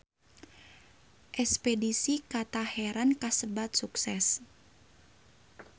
Espedisi ka Teheran kasebat sukses